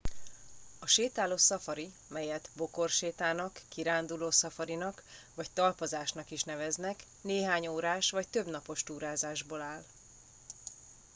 a sétáló szafari amelyet bokorsétának” kiránduló szafarinak” vagy talpazásnak” is neveznek néhány órás vagy több napos túrázásból áll